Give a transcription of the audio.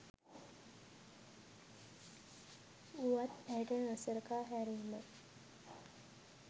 උවත් ඇයට නොසලකා හැරීම